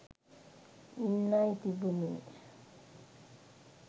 ඉන්නයි තිබුණේ.